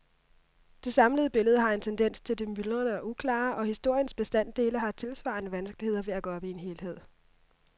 Det samlede billede har en tendens til det myldrende og uklare, og historiens bestanddele har tilsvarende vanskeligheder ved at gå op i en helhed.